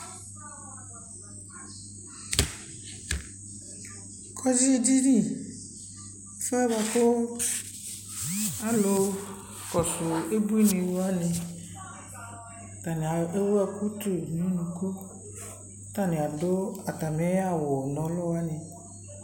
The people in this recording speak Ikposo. kɔdzi dini ,ɛƒʋɛ bʋakʋ alʋ kɔsʋ ʋbʋi ni wani, atani ɛwʋ ɛkʋ tʋ nʋ ʋnʋkʋ kʋ ataniadʋ atamiawʋnɔlʋ wani